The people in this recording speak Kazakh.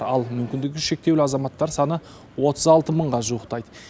ал мүкіндігі шектеулі азаматтар саны отыз алты мыңға жуықтайды